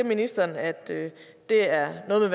ministeren at det er noget